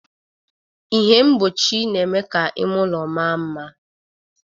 Ihe mgbochi na-eme ka ime ụlọ maa mma